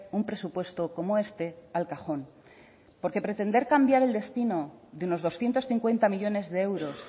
un presupuesto como este al cajón porque pretender cambiar el destino de unos doscientos cincuenta millónes de euros